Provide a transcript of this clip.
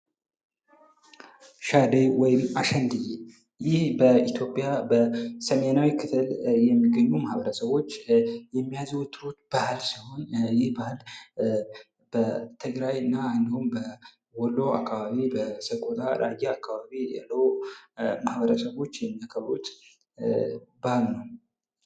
ሻደይ ወይም አሽንዴ ይህ በኢትዮጵያ በሰሜናዊ ክፍል የሚገኙ ማህበረሰቦች የሚያዘወትሩት ባህል ሲሆን ይህ ባህል በትግራይና እንዲሁም ወሎ አካባቢ ፥ በሰቆጣ ፥ ራያ አካባቢ ያሉ ማህበረሰቦች የሚያከብሩት በአል ነው።